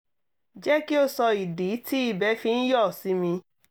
jẹ́ kí o sọ ìdí tí ìbẹ̀ fi ń yọ̀ sí mi